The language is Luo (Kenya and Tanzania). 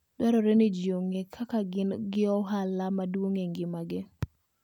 Dwarore ni ji ong'e kaka gin gi ohala maduong' e ngimagi.